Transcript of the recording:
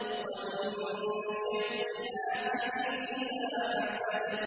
وَمِن شَرِّ حَاسِدٍ إِذَا حَسَدَ